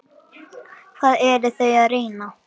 Hvað eru þau að reyna?